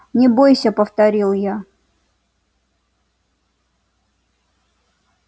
не бойся повторил я